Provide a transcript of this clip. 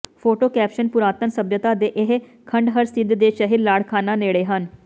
photo caption ਪੁਰਾਤਨ ਸੱਭਿਅਤਾ ਦੇ ਇਹ ਖੰਡਹਰ ਸਿੰਧ ਦੇ ਸ਼ਹਿਰ ਲਾੜਕਾਨਾ ਨੇੜੇ ਹਨ